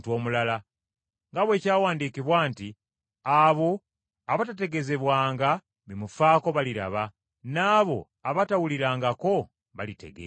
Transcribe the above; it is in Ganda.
nga bwe kyawandiikibwa nti, “Abo abatategeezebwanga bimufaako baliraba, n’abo abatawulirangako balitegeera.”